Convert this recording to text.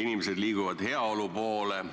Inimesed liiguvad heaolu poole,